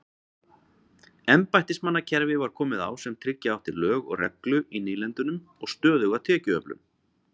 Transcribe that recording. Embættismannakerfi var komið á sem tryggja átti lög og reglu í nýlendunum og stöðuga tekjuöflun.